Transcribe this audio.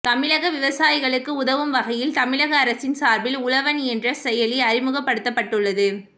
தமிழக விவசாயிகளுக்கு உதவும் வகையில் தமிழக அரசின் சார்பில் உழவன் என்ற செயலி அறிமுகப்படுத்தப்பட்டுள்ளது